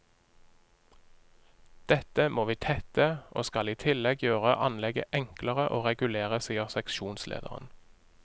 Dette må vi tette, og skal i tillegg gjøre anlegget enklere å regulere, sier seksjonslederen.